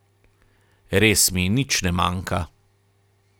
Res mi nič ne manjka.